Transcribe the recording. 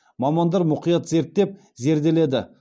мамандар мұқият зерттеп зерделеді